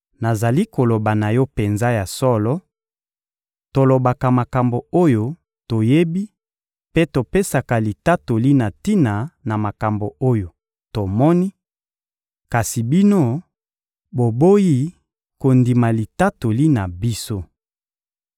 Nazali koloba na yo penza ya solo: tolobaka makambo oyo toyebi mpe topesaka litatoli na tina na makambo oyo tomoni; kasi bino, boboyi kondima litatoli na biso.